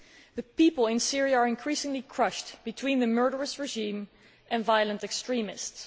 The people in Syria are increasingly crushed between the murderous regime and violent extremists.